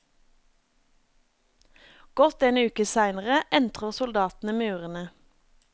Godt en uke seinere entrer soldatene murene.